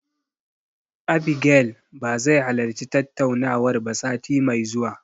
Abigail ba zai halarci tattaunawar ba sati mai zuwa.